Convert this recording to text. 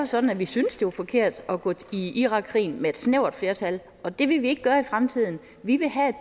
sådan at vi synes det var forkert at gå ind i irakkrigen med et snævert flertal og det vil vi ikke gøre i fremtiden vi vil have